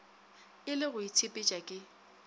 e le go itshepetša ke